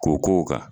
K'o k'o kan